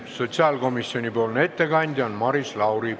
Sotsiaalkomisjoni ettekandja on Maris Lauri.